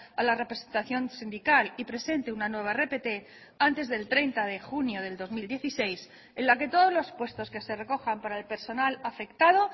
a la representación sindical y presente una nueva rpt antes del treinta de junio del dos mil dieciséis en la que todos los puestos que se recojan para el personal afectado